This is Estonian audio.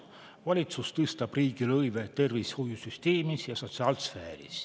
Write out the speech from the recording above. Valitsus tõstab riigilõive tervishoiusüsteemis ja sotsiaalsfääris.